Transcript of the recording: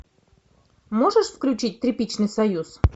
можешь включить тряпичный союз